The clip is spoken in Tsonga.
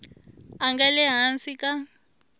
a nga le hansi ka